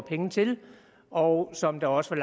penge til og som der også var